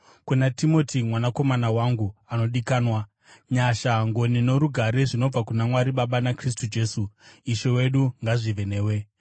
kuna Timoti mwanakomana wangu anodikanwa: Nyasha, ngoni norugare zvinobva kuna Mwari Baba naKristu Jesu, Ishe wedu ngazvive newe.